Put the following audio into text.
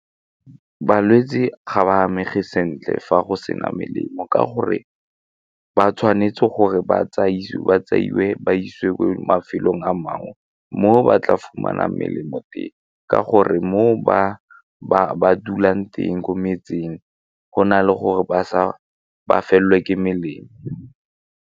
Balwetse ga ba amegile sentle fa go sena melemo ka gore ba tshwanetse gore ba tseiwe ba isiwe kwa mafelong a mangwe mo ba tla fumanang melemo teng ka gore mo ba ba dulang teng ko metseng go na le gore ba felelwe ke melemo.